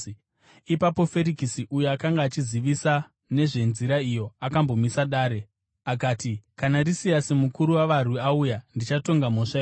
Ipapo Ferikisi uyo akanga achizivisisa nezveNzira iyo, akambomisa dare. Akati, “Kana Risiasi mukuru wavarwi auya, ndichatonga mhosva yenyu.”